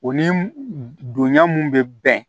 O ni donya mun bɛ bɛn